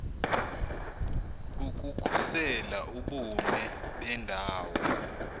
ukukhusela ubume bendawo